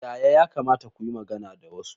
Yaya ya kamata ku yi magana da wasu?